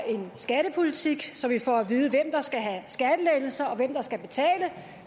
en skattepolitik så vi får at vide hvem der skal have skattelettelser og hvem der skal betale